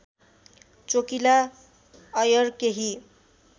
चोकिला अय्यर केही